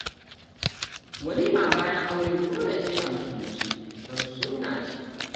Walima bayan aure dole ce a musulunce don sunna ce